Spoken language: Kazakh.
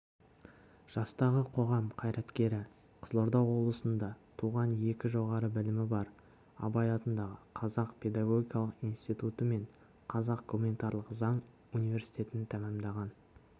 жастағы қоғам қайраткері қызылорда облысында туған екі жоғары білімі бар абай атындағы қазақ педагогикалық институты мен қазақ гуманитарлық заң университетін тәмамдаған